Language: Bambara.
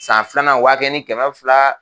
San filanan o b'a kɛ ni kɛmɛ fila